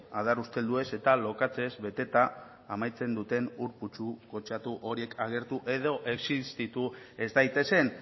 adar ustelduez eta lokatzez beteta amaitzen duten ur putzu kutsatu horiek agertu edo existitu ez daitezen